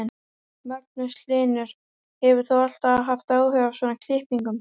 Magnús Hlynur: Hefur þú alltaf haft áhuga á svona klippingum?